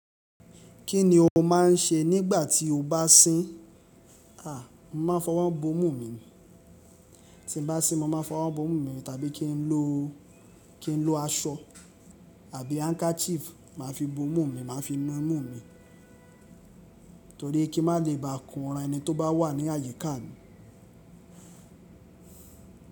Kí ni o máà n ṣe nígbà tí o bá sín? A! Mo ma fọwọ́ bo imú mi ni, ti n bá sín mo ma n fọwọ́ bo imú mi ni, tàbí kí n lò, kí n lò aṣọ àbí handkerchief ma fi bo mú mi, ma fi nu mú mi torí pé kí má lè bá ko ran ẹni tó bá wà ní àyíká mi.